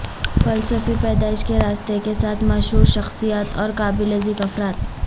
فلسفی پیدائش کے راستے کے ساتھ مشہور شخصیات اور قابل ذکر افراد